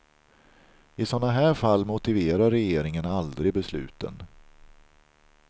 I sådana här fall motiverar regeringen aldrig besluten.